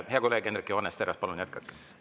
Hea kolleeg Hendrik Johannes Terras, palun jätkake!